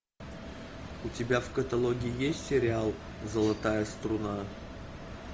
у тебя в каталоге есть сериал золотая струна